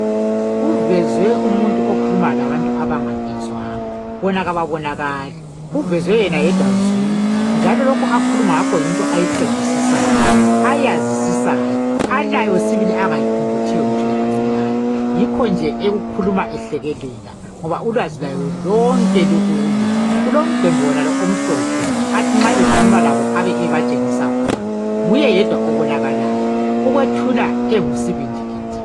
Kuveze umuntu okhuluma labantu abangabizwanga bona kababonakali, kuvezwe yena yedwa zwi njalo lokhu akhuluma ngakho yinto ayiqedisisayo ayazisisayo alayo sibili angayiphumputhiyo ngitsho lakancane. Yikho nje ekukhuluma ehlekelela ngoba ulwazi lwayo lonke lukuye. Kulomgwembe wonalo omhlophe nxa ekhuluma labo abe ebatshengisa khona, nguye yedwa obonakalayo ukwethula engusibindi gidi.